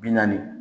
Bi naani